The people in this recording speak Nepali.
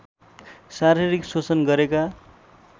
शारीरिक शोषण गरेका